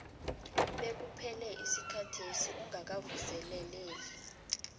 bekuphele isikhathesi ungakawuvuseleli